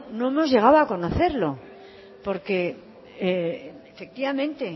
no hemos llegado a conocerlo porque efectivamente